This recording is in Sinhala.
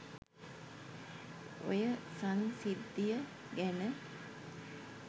ඔය සංසිද්ධිය ගැන